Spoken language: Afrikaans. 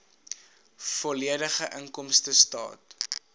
volledige inkomstestaat